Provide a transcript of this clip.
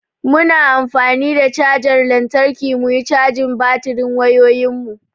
Muna an fani da chajar lantarki muyi cajin batirin wayoyin mu.